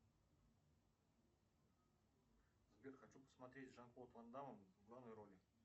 сбер хочу посмотреть с жан клод вандамом в главной роли